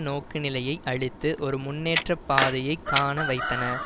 நோக்குநிலையை அளித்து ஒரு முன்னேற்ற பாதையை காண வைத்தன